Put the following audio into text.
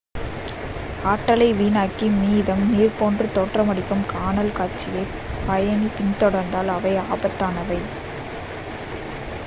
ஆற்றலை வீணாக்கி மீதம் நீர் போன்று தோற்றமளிக்கும் கானல் காட்சியை பயணி பின்தொடர்ந்தால் அவை ஆபத்தானவை